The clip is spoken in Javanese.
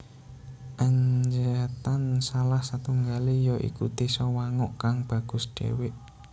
Anjatan salah satunggale ya iku désa Wanguk kang bagus dewek